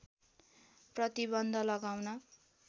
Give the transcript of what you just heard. प्रतिबन्ध लगाउन